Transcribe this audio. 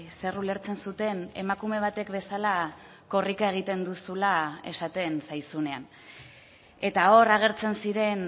zer ulertzen zuten emakume batek bezala korrika egiten duzula esaten zaizunean eta hor agertzen ziren